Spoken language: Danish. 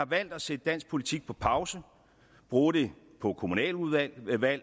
valgt at sætte dansk politik på pause og bruge det på kommunalvalg